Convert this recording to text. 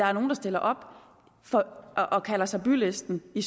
er nogle der stiller op og kalder sig bylisten i